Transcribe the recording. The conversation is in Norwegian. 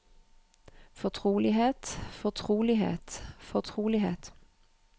fortrolighet fortrolighet fortrolighet